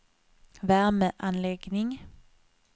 värmeanläggning